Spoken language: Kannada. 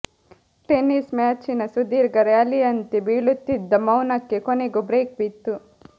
ಟೆನಿಸ್ ಮ್ಯಾಚಿನ ಸುದೀರ್ಘ ರ್ಯಾಲಿಯಂತೆ ಬೆಳೆಯುತ್ತಿದ್ದ ಮೌನಕ್ಕೆ ಕೊನೆಗೂ ಬ್ರೇಕ್ ಬಿತ್ತು